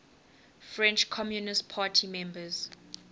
french communist party members